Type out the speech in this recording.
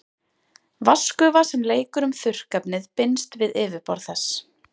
Vatnsgufa sem leikur um þurrkefnið binst við yfirborð þess.